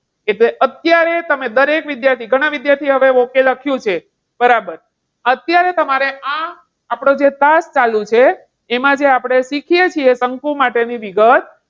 એટલે અત્યારે તમે દરેક વિદ્યાર્થી ઘણા વિદ્યાર્થીઓ હવે okay લખ્યું છે. બરાબર. અત્યારે તમારે આ આપણો જે class ચાલુ છે, એમાં જે આપણે શીખીએ છીએ શંકુ માટેની વિગત.